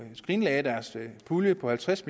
skrinlagde deres pulje på halvtreds